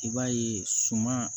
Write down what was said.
I b'a ye suman